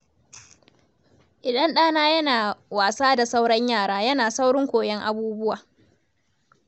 Idan ɗana yana wasa da sauran yara, yana saurin koyon abubuwa.